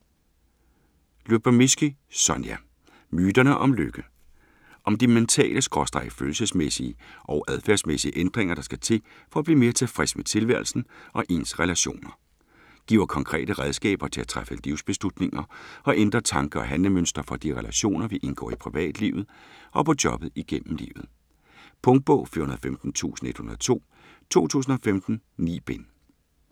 Lyubomirsky, Sonja: Myterne om lykke Om de mentale/følelsesmæssige og adfærdsmæssige ændringer, der skal til for at blive mere tilfreds med tilværelsen og ens relationer. Giver konkrete redskaber til at træffe livsbeslutninger og ændre tanke- og handlemønstre for de relationer, vi indgår i privatlivet og på jobbet igennem livet. Punktbog 415102 2015. 9 bind.